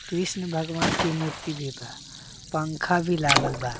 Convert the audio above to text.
कृष्ण भगवान् के मूर्ति भी बा पंखा भी लागल बा।